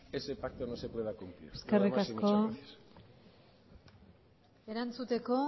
de que ese pacto no se pueda cumplir nada más y muchas gracias eskerrik asko erantzuteko